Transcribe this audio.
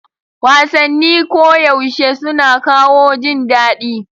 Wasanni koyaushe suna kawo jin daɗi.